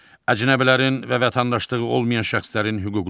Əcnəbilərin və vətəndaşlığı olmayan şəxslərin hüquqları.